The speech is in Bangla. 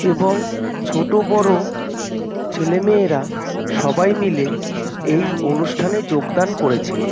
এবং ছোট বড় ছেলেমেয়েরা সবাই মিলে এই অনুষ্ঠানে যোগদান করেছেন।